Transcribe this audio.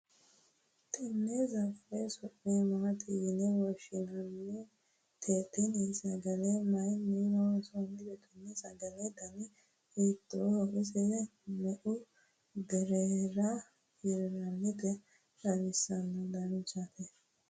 tenne sagale su'mi maati yine woshshinanite? tenne sagale mayiinni loonsanni? tenne sagalete dani hiittooho? ise me''u birrira hirrannite? xawisa dandaatto?